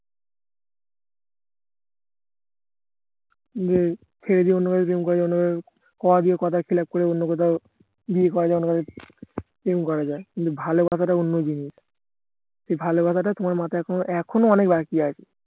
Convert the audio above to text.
উম সেইজন্য কথা দিয়ে কথার খেলাপ করে অন্য কোথাও বিয়ে করা যায় অন্য কোথাও প্রেম করা যায় কিন্তু ভালোবাসাটা অন্য জিনিস ভালোবাসাটা তোমার মাথায় এখনো এখনো অনেক বাকি আছে